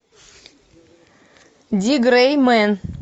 ди грей мен